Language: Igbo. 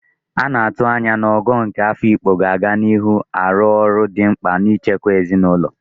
A na-atụ anya na Ogo nke Afikpo ga-aga n'ihu na-arụ ọrụ dị mkpa n'ichekwa omenala.